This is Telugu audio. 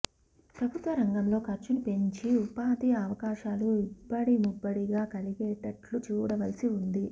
ప్రభుత్వ రంగంలో ఖర్చును పెంచి ఉపాధి అవకాశాలు ఇబ్బడిముబ్బడిగా కలిగేటట్టు చూడవలసి ఉంది